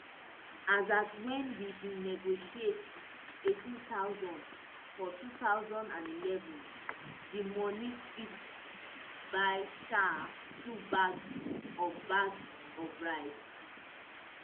as at wen we bin negotiate neighteen thousand for two thousand and eleven di money fit buy um two bags of bags of rice